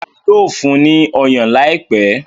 Rárá, yóò fún ní ọyàn láìpẹ́.